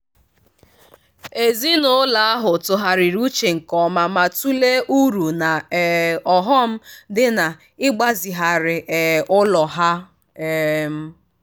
ezinụlọ ahụ tụgharịrị uchenke ọma ma-tụlee uru na um ọghọm dị n'ịgbazigharị um ụlọ ha. um